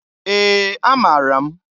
Ee! Amaara m.